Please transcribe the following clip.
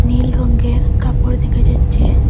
নীল রঙ্গের কাপড় দেখা যাচ্ছে।